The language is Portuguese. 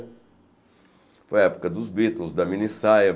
Foi a época dos Beatles, da minissaia.